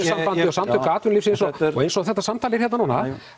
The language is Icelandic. samtök atvinnulífsins og eins og þetta samtal er hérna núna